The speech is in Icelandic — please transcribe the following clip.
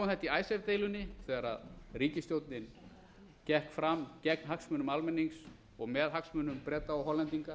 þetta í icesave deilunni þegar ríkisstjórnin gekk fram gegn hagsmunum almennings og með hagsmunum breta og hollendinga